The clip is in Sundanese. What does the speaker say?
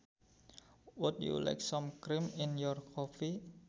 Would you like some cream in your coffee